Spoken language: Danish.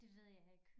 Det ved jeg ikke